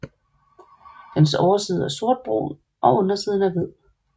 Dens overside er sortbrun og undersiden er hvid